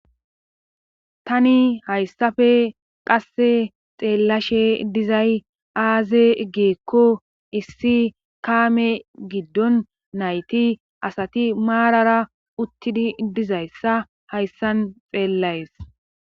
Tani hayssafe qasse xeellashe dizay aaze geekko issi kaame giddon nayti asati maarara uttidi dizayssa hayssan xeellayes